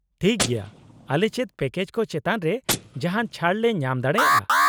-ᱴᱷᱤᱠ ᱜᱮᱭᱟ ᱾ ᱟᱞᱮ ᱪᱮᱫ ᱯᱮᱠᱮᱡ ᱠᱚ ᱪᱮᱛᱟᱱ ᱨᱮ ᱡᱟᱦᱟᱱ ᱪᱷᱟᱹᱲ ᱞᱮ ᱧᱟᱢ ᱫᱟᱲᱮᱭᱟᱜᱼᱟ ?